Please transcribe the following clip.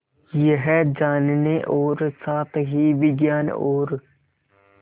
यह जानने और साथ ही विज्ञान और